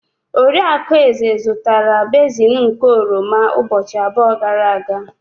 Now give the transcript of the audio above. Oriakụ Eze zụtara basin nke oroma ụbọchị abụọ gara aga.